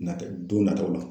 Na kɛ don nataw la